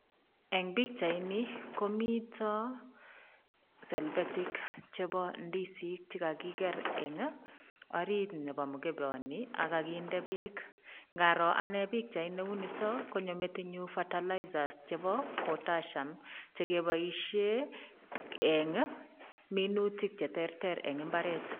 Eng' pichaini komito selbetik chebo ndisik chekakiker eng' oriit nebo mkeboni ak kakinde beek, ng'aroo anee pichai neuniton konyo metinyun fertilizers chebo potassium chekeboishe eng' minutik cheterter eng' imbaret.